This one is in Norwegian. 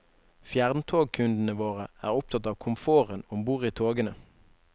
Fjerntogkundene våre er opptatt av komforten om bord i togene.